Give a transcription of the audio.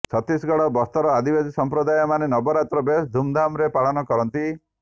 ଛତିଶଗଡ଼ ବସ୍ତରର ଆଦିବାସୀ ସଂପ୍ରଦାୟମାନେ ନବରାତ୍ରୀ ବେଶ ଧୁମ୍ ଧାମ୍ ରେ ପାଳନ କରନ୍ତି